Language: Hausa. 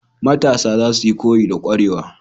Matasa zasuyi koyi da kwarewa.